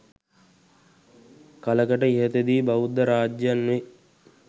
කලකට ඉහතදී බෞද්ධ රාජ්‍යයන් වේ